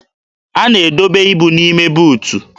A na-edobe ibu n'ime buutu